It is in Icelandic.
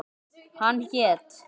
Hann hét